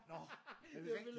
Nå er det rigtig